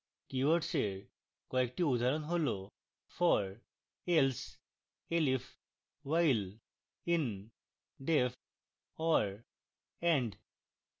keywords এর কয়েকটি উদাহরণ হল for if else elif while in def or and